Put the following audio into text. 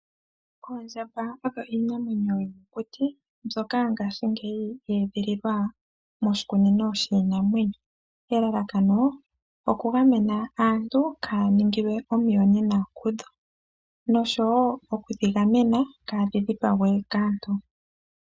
Oondjamba odho iinamwenyo yomokuti mbyoka ngaashingeyi ye edhililwa moshikunino shinamwenyo. Elalakano oku gamena aantu kaya ningilwe omuyonena kudho. Noshowo oku dhi gamena kaadhi dhipagwe kaantu.